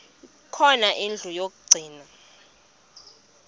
khona indlu yokagcina